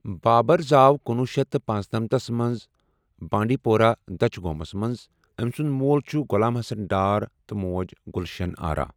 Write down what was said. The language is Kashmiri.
بابر زاو کُنوُہ شیتھ تہٕ پنژنٔمتھ مَنٛز بانڈپورہ دچہِ گومس مَنٛز امہِ سنُد مول چھُ غلام حصن ڈار تہ موج گلشن ارہ۔